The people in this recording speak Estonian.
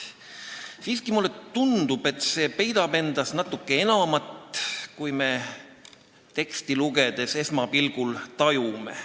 Samas mulle tundub, et see peidab endas natuke enamat, kui me teksti lugedes esmapilgul tajume.